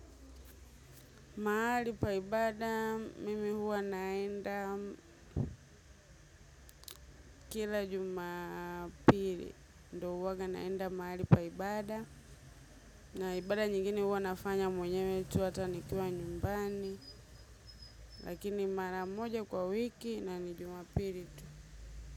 Mahali pa ibada, mimi huwa naenda kila jumapiri, ndo huwaga naenda mahali pa ibada. Naibada nyingine huwa nafanya mwenyewe tu hata nikiwa nyumbani, lakini mara moja kwa wiki na ni jumapiri tu.